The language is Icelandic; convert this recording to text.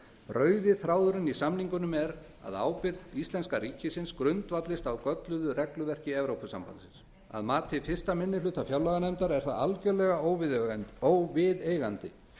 rauði þráðurinn í samningunum er að ábyrgð íslenska ríkisins grundvallist á gölluðu regluverki evrópusambandsins að mati fyrsti minni hluta fjárlaganefndar er það algjörlega óviðeigandi